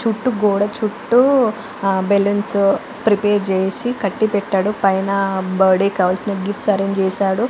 చుట్టూ గోడ చుట్టూ ఆ బల్లూన్స్ ప్రిపేర్ చేసి కట్టి పెట్టాడు పైన బర్త్డే కి కావాల్సిన గిఫ్ట్స్ ఆరెంజ్ చేసాడు .